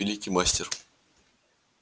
великий мастер